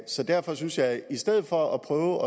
så derfor synes jeg at man i stedet for at prøve